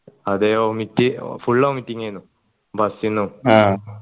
അതെ vomit full vomiting ഏന് bus ന്നും ആ